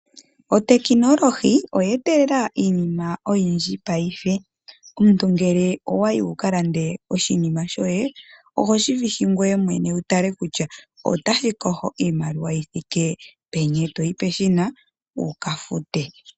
Otekinolohi oye etelela iinima oyindji paife. Omuntu ngele owayi wukalande oshinima shoye ohoshi vihi ngoye mwene wu tale kutya otashi koho iimaliwa yithike peni, etoyi pehina wu kafute.